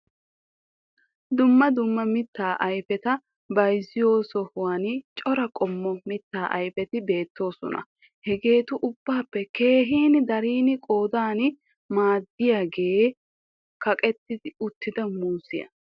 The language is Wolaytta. Dumma dumma mittaa ayfeta bayzziyo sohuwan cora qommo mitta aufeti beettoosona. Hegeetu ubbappe keehin daridi qoodan maaddiyaage kaqetti uttida muuziya.